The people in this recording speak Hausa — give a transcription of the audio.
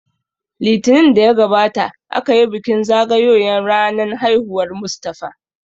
Litinin da ya gabata aka yi bikin zagayoyan ranan haihuwar Mustapha